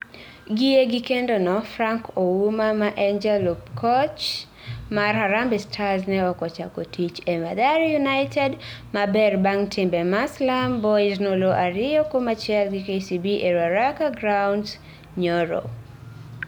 Gie kindeno, Frank Ouna ma ne en jalup koch mar Harambee Stars ne ok ochako tich e Mathare United maber bang timbe ma Slam Boys noloo ariyo kuom achiel gi KCB e Ruaraka Grounds nyoro.